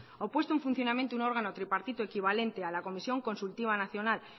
o puesto en funcionamiento un órgano tripartito equivalente a la comisión consultiva nacional